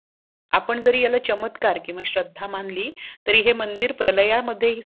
आपण जर ह्याला चमत्कार किवा श्रद्धा मानली तरी हे मंदिर प्रलयामध्ये